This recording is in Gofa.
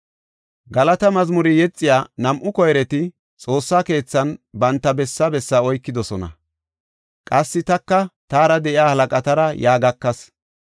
Galata mazmure yexiya nam7u koyreti Xoossa keethan banta besse besse oykidosona. Qassi taka taara de7iya halaqatara yaa gakas.